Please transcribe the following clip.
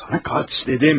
Saat soruşdum.